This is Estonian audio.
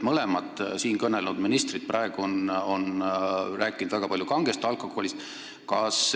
Mõlemad siin kõnelnud ministrid on väga palju rääkinud kangest alkoholist.